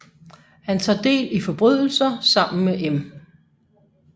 Han tager del i forbrydelser sammen med M